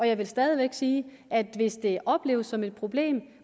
jeg vil stadig væk sige at hvis det opleves som et problem